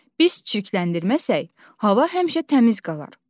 Biz çirkləndirməsək, hava həmişə təmiz qalar.